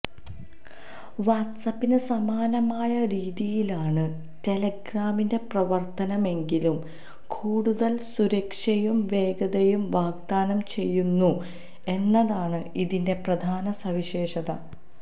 വാട്ട്സ്ആപ്പിന് സമാനമായ രീതിയിലാണ് ടെലഗ്രാമിന്റെ പ്രവര്ത്തനമെങ്കിലും കൂടുതല് സുരക്ഷയും വേഗതയും വാഗ്ദാനം ചെയ്യുന്നുന്നു എന്നതാണ് ഇതിന്റെ പ്രധാന സവിശേഷത